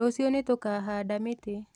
Rũciũ nĩtũkahanda mĩtĩ